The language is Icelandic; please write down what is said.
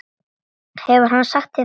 Hefur hann sagt þér það?